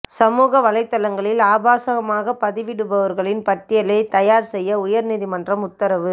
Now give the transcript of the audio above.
சமூக வலைதளங்களில் ஆபாசமாக பதிவிடுபவர்களின் பட்டியலை தயார் செய்ய உயர் நீதிமன்றம் உத்தரவு